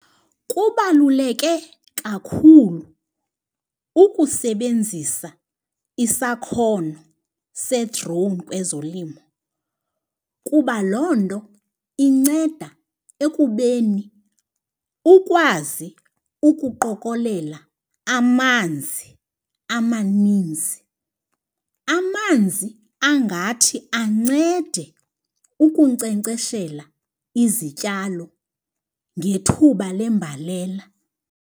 Kubaluleke kakhulu ukusebenzisa isakhono se-drone kwezolimo kuba loo nto inceda ekubeni ukwazi ukuqokelela amanzi amaninzi. Amanzi angathi ancede ukunkcenkceshela izityalo ngethuba lembalela.